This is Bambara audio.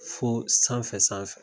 Fo sanfɛ sanfɛ